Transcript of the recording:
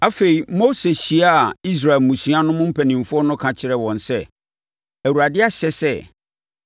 Afei, Mose hyiaa Israel mmusua no mu mpanimfoɔ no ka kyerɛɛ wɔn sɛ, “ Awurade ahyɛ sɛ,